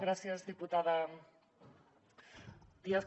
gràcies diputada díaz